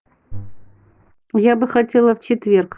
я бы хотела в четверг